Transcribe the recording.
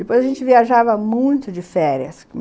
Depois a gente viajava muito de férias.